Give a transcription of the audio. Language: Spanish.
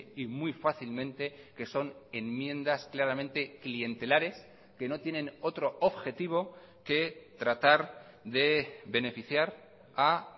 y muy fácilmente que son enmiendas claramente clientelares que no tienen otro objetivo que tratar de beneficiar a